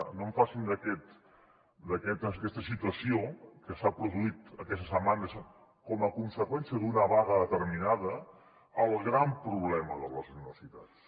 no en facin d’aquesta situació que s’ha produït aquesta setmana com a conseqüència d’una vaga determinada el gran problema de les universitats